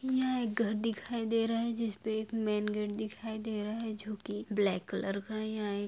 यह एक घर दिखाई दे रहा हैं जिसपे एक मेन गेट दिखाई दे रहा है जो की ब्लैक कलर का हैंयहाँ एक--